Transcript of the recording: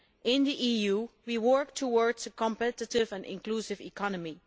In the EU we are working towards a competitive and inclusive economy.